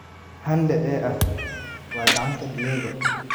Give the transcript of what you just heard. "Hande ehee ah, waa gacanta Diego!"